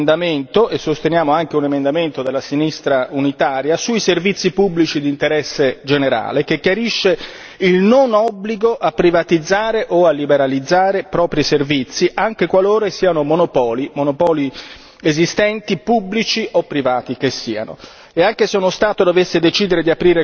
Perciò abbiamo presentato un nostro emendamento e sosteniamo anche un emendamento della sinistra unitaria sui servizi pubblici di interesse generale che chiarisce il non obbligo a privatizzare o a liberalizzare propri servizi anche qualora siano monopoli, monopoli esistenti, pubblici o privati che siano.